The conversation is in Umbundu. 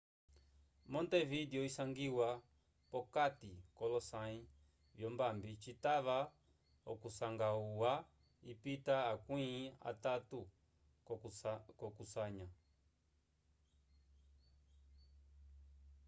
montevidewu isangiwa p'okati k'olosãyi vyombambi citava okusanga ohuya ipita akwĩ atatu k'okusanya